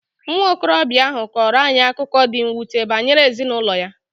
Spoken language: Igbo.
Nwa okorobịa ahụ kọọrọ anyị akụkọ dị mwute banyere ezinụlọ ya.